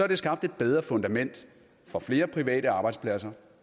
det skabt et bedre fundament for flere private arbejdspladser